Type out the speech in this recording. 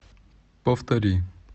повтори